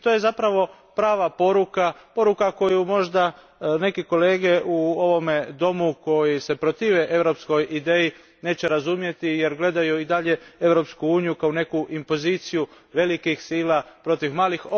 I to je zapravo prava poruka, poruka koju možda neki kolege u ovome domu koji se protive europskoj ideji neće razumjeti jer gledaju i dalje Europsku uniju kao neku impoziciju velikih sila protiv malih.